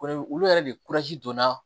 olu yɛrɛ de donna